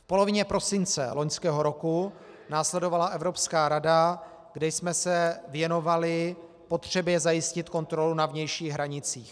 V polovině prosince loňského roku následovala Evropská rada, kde jsme se věnovali potřebě zajistit kontrolu na vnějších hranicích.